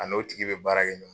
A n'o tigi be baara kɛ ɲɔgɔn